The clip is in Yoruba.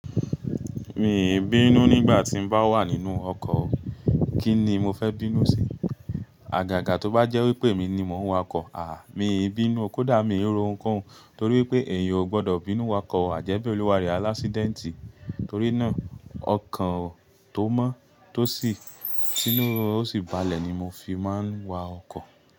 Mi ò bínú nígbà tí n bá wà nínú ọkọ̀. Kíni mo fẹ́ bínú sí? Àgàgà tó bá jẹ́ wípé mi ni mò ń wa ọkọ̀. Àh! Mi ò bínú, kódà mi ò ro ǹkan torí pé ẹ̀yin ò gbọdọ̀ bínú wa ọkọ̀, àjẹ́bẹ́ òluware alásídẹ́ńtì. Torí náà, ọkọ̀ tó mọ́ tó sì tinu ó sì balẹ̀ ni mo fi máa ń wa ọkọ̀